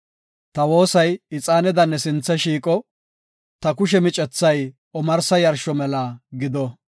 Ta woosay ixaaneda ne sinthe shiiqo; ta kushe micethay omarsa yarsho mela gido.